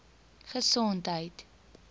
gesondheid